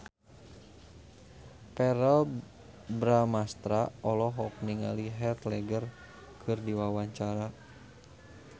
Verrell Bramastra olohok ningali Heath Ledger keur diwawancara